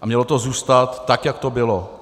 A mělo to zůstat tak, jak to bylo.